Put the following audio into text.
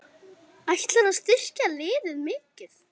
Ætlarðu að styrkja liðið mikið?